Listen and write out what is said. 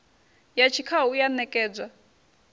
ya tshikhau i a ṋekedzwa